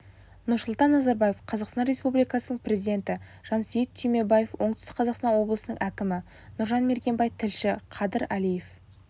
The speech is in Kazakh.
нұрсұлтан назарбаев қазақстан республикасының президенті жансейіт түймебаев оңтүстік қазақстан облысының әкімі нұржан мергенбай тілші қадыр алиев